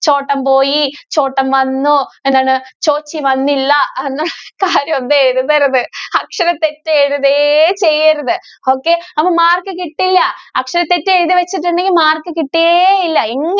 ചോട്ടന്‍ പോയ, ചോട്ടന്‍ വന്നു എന്താണ് ചോച്ചി വന്നില്ല എന്ന കാര്യോന്നും എഴുതരുത്. അക്ഷരതെറ്റ് എഴുതുകയേ ചെയ്യരുത്. okay അപ്പം mark കിട്ടില്ല. അക്ഷരതെറ്റ് എഴുതിവച്ചിട്ടുണ്ടെങ്കിൽ mark കിട്ടുകയേ ഇല്ല. എങ്ങ~